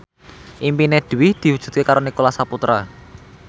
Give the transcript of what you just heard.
impine Dwi diwujudke karo Nicholas Saputra